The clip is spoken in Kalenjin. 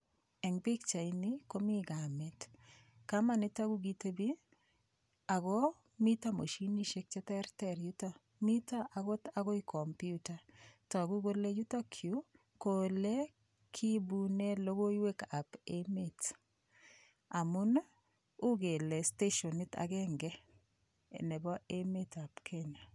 Eng' pikchaini komi kamet kamanoto kokitebi ako mito moshinishek cheterter yuto mito akot akoi komputa toku kole yutokyu ko ole kiibune lokoiywekab emet amun uu kele stashionit agenge nebo emetab Kenya